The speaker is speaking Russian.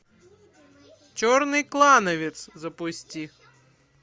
черный клановец запусти